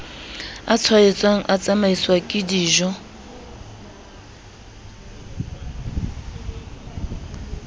a tshwaetsang a tsamaiswang kedijo